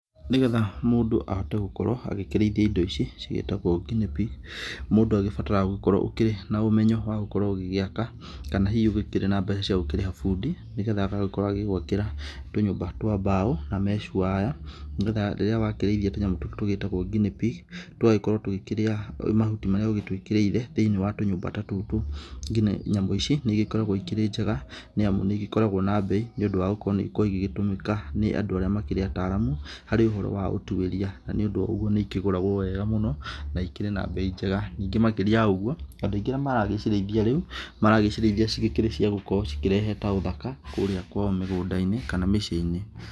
Nĩgetha mũndũ ahote gũkorwo agĩkĩrĩithia ĩndo ta ici cigĩtagwo Guinea pig mũndũ agĩbataraga gukorwo ũkĩrĩ na ũmenyo wa gũkorwo ũgĩgĩaka, kana hihi ũkĩrĩ na mbeca cia gũkĩrĩha bundĩ, nĩgetha agagĩkorwo agĩgwakĩra tũnyũmba twa mbaũ na mesh wire, nĩgetha rĩrĩa wakĩrĩithia tũnyamũ tũtũ tũgĩtagwo guinea pig tũgagĩkorwo tũgĩkĩrĩa mahuti marĩa ũgĩtwĩkĩrĩire thĩiniĩ wa tũnyũmba ta tũtũ. Nyamũ ici nĩ ĩgĩkoragwo ĩrĩ njega nĩamu nĩigĩkoragwo na mbei nĩ ũndũ wa gũkorwo nĩ ĩkoragwo ĩgĩgĩyũmĩka nĩ andũ arĩa makĩria ataramu harĩ ũhoro wa ũtuĩria. Na nĩ ũndũ wa ũguo nĩikĩgũragwo wega mũno na ĩkĩrĩ na mbeĩ njega, ningĩ makĩria ya ũguo andũ aingĩ arĩa maragĩcirĩithia rĩu maragĩcirĩithia cigĩkĩrĩ cia gũkorwo cigĩkĩrehe ta ũthaka kũrĩa kwao mĩgũnda-inĩ kana mĩcĩĩ-inĩ.